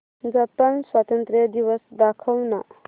Japan स्वातंत्र्य दिवस दाखव ना